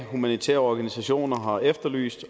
humanitære organisationer har efterlyst